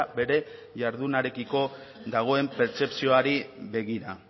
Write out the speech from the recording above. bere jardunarekiko dagoen pertzepzioari begira